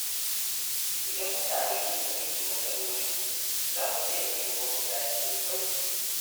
Idan mutane sun fahimci matsalolinsu, za su iya nemo mafita cikin sauƙi.